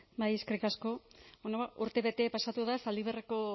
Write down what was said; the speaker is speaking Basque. bai eskerrik asko bueno urtebete pasatu da zaldibarreko